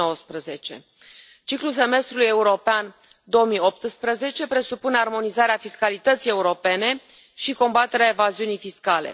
2019. Ciclul semestrului european 2018 presupune armonizarea fiscalității europene și combaterea evaziunii fiscale.